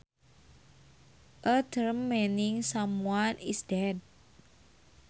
A term meaning someone is dead